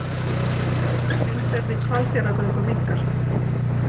Umferð í Hvalfjarðargöngum minnkar